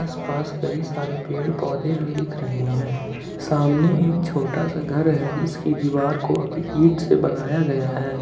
आस पास कई सारे पेड़ पौधे भी दिख रहे हैं सामने एक छोटा सा घर है जिसकी दीवार को ईट से बनाया गया है।